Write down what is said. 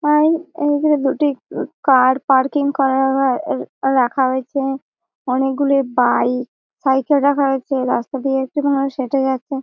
আর এই ধারে দুটি কার পার্কিং রাখা রয়েছে। অনেকগুলো বাইক সাইড -এ রয়েছে। রাস্তা দিয়ে একটি মানুষ হেটে যাচ্ছে।